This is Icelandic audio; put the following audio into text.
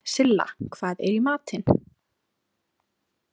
Silla, hvað er í matinn?